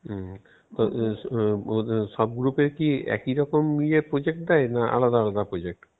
হম তো~ সব গ্রুপের কি একই রকম project দেয় না আলাদা আলাদা project?